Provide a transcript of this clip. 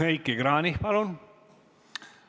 Heiki Kranich, palun!